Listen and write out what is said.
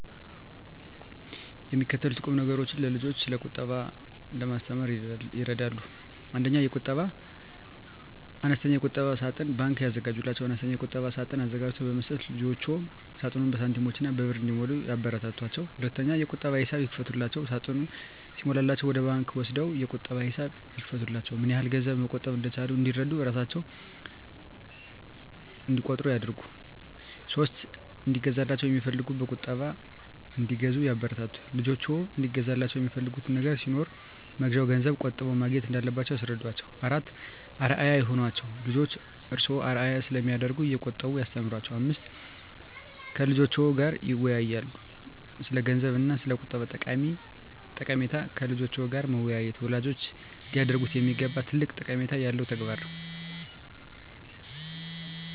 የሚከተሉት ቁምነገሮች ልጆችን ስለቁጠባ ለማስተማር ይረዳሉ 1. አነስተኛ የቁጠባ ሳጥን (ባንክ) ያዘጋጁላቸው፦ አነስተኛ የቁጠባ ሳጥን አዘጋጅቶ በመስጠት ልጆችዎ ሳጥኑን በሳንቲሞችና በብር እንዲሞሉ ያበረታቷቸው። 2. የቁጠባ ሂሳብ ይክፈቱላቸው፦ ሳጥኑ ሲሞላላቸው ወደ ባንክ ወስደው የቁጠባ ሂሳብ ይክፈቱላቸው። ምንያህል ገንዘብ መቆጠብ እንደቻሉ እንዲረዱ እራሣቸው እቆጥሩ ያድርጉ። 3. እንዲገዛላቸው የሚፈልጉትን በቁጠባ እንዲገዙ ያበረታቱ፦ ልጆችዎ እንዲገዙላቸው የሚፈልጉት ነገር ሲኖር መግዣውን ገንዘብ ቆጥበው ማግኘት እንዳለባቸው ያስረዷቸው። 4. አርአያ ይሁኗቸው፦ ልጆችዎ እርስዎን አርአያ ስለሚያደርጉ እየቆጠቡ ያስተምሯቸው። 5. ከልጆችዎ ጋር ይወያዩ፦ ስለገንዘብ እና ስለቁጠባ ጠቀሜታ ከልጆች ጋር መወያየት ወላጆች ሊያደርጉት የሚገባ ትልቅ ጠቀሜታ ያለው ተግባር ነው።